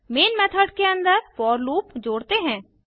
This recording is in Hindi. मेन मेथड के अन्दर फोर लूप जोड़ते हैं